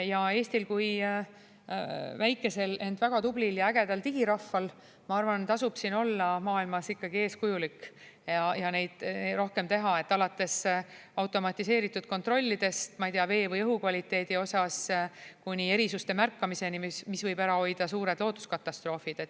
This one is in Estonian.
Ja kui väikesel, ent väga tublil ja ägedal digirahval, ma arvan, tasub siin olla maailmas ikkagi eeskujulik ja rohkem teha, alates automatiseeritud kontrollidest, ma ei tea, vee või õhu kvaliteedi osas kuni erisuste märkamiseni, mis võib ära hoida suured looduskatastroofid.